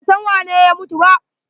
Ban san waye ne ya mutu ba.